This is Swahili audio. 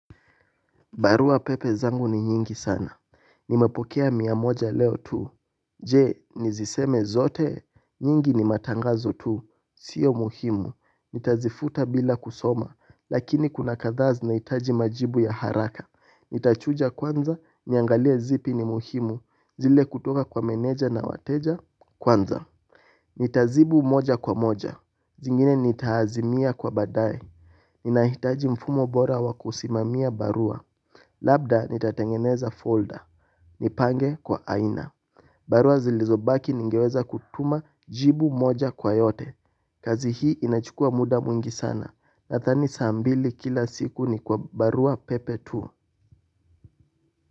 Barua pepe zangu ni nyingi sana. Nimepokea mia moja leo tu. Je niziseme zote? Nyingi ni matangazo tu. Sio muhimu. Nitazifuta bila kusoma. Lakini kuna kadhaa zinahitaji majibu ya haraka, nitachuja kwanza, niangalie zipi ni muhimu zile kutoka kwa meneja na wateja kwanza. Nitazibu moja kwa moja. Zingine nitaazimia kwa baadae. Ninahitaji mfumo bora wakusimamia barua. Labda nitatengeneza folder, nipange kwa aina. Barua zilizobaki ningeweza kutuma jibu moja kwa yote. Kazi hii inachukua muda mwingi sana, nathani saa mbili kila siku ni kwa barua pepe tu.